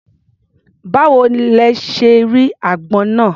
Báwo lẹ ṣe rí agbọ́n náà?